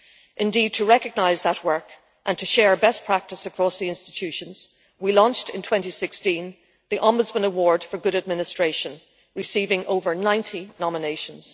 Indeed to recognise that work and to share best practice across the institutions, we launched in 2016 the Ombudsman Award for Good Administration, receiving over 90 nominations.